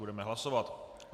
Budeme hlasovat.